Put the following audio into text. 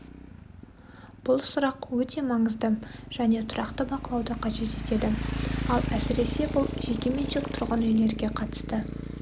бұл сұрақ өте маңызды және тұрақты бақылауды қажет етеді ал әсіресе бұл жекеменшік тұрғын үйлерге қатысты